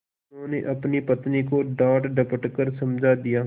उन्होंने अपनी पत्नी को डाँटडपट कर समझा दिया